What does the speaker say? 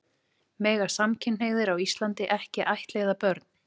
Mega samkynhneigðir á Íslandi ekki ættleiða börn?